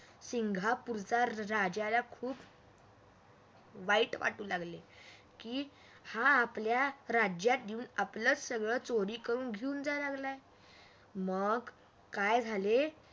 सिंगापूरच्या राज्याला खूप वाईट वाटू लागले की हा आपल्या राज्यात येऊन आपलंच सगळं चोरी करून घेऊन जाऊ लागलाय मग काय झाले.